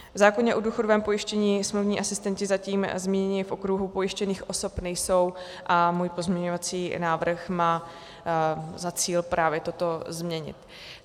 V zákoně o důchodovém pojištění smluvní asistenti zatím zmíněni v okruhu pojištěných osob nejsou a můj pozměňovací návrh má za cíl právě toto změnit.